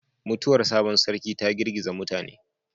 Mutuwar sabon Sarki ta girgiza mutane